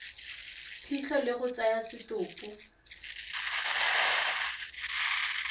phitlho le go tsaya setopo